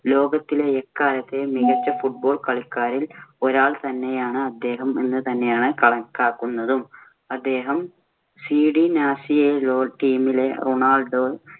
ലോകത്തിലെ എക്കാലത്തെയും മികച്ച football കളിക്കാരിൽ ഒരാള്‍ തന്നെയാണ് അദ്ദേഹം എന്ന് തന്നെയാണ് കണക്കാക്കുന്നതും അദ്ദേഹം CD നാസിയൊനലൊ team ലെ റൊണാൾഡോ